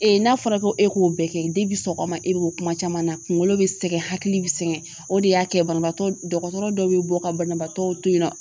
Ee n'a fɔra ko e k'o bɛɛ kɛ bi sɔgɔma e be bɔ kuma caman na kunkolo be sɛgɛn hakili bi sɛgɛn o de y'a kɛ banabaatɔ dɔgɔtɔrɔ dɔ bɛ bɔ ka banabaatɔw to yen nɔ